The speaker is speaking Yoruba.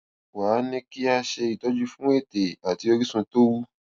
wá a ní kí wón ṣe ìtọjú fún ètè àti orísun tó wú